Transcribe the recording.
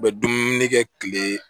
U bɛ dumuni kɛ kile